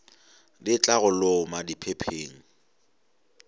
di tla go loma diphepheng